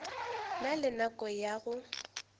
na le nako ya go